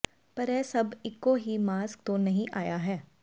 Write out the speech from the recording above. ਪਰ ਇਹ ਸਭ ਇੱਕੋ ਹੀ ਮਾਸਕ ਤੋਂ ਨਹੀਂ ਆਇਆ ਹੈ